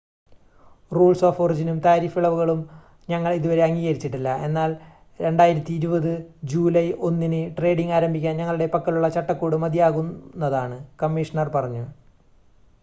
"""Rules of ഒറിജിനും tariff ഇളവുകളും ഞങ്ങൾ ഇതുവരെ അംഗീകരിച്ചിട്ടില്ല എന്നാൽ 2020 ജൂലൈ 1-ന് ട്രേഡിംഗ് ആരംഭിക്കാൻ ഞങ്ങളുടെ പക്കലുള്ള ചട്ടക്കൂട് മതിയാകുന്നതാണ്" കമ്മീഷണർ പറഞ്ഞു.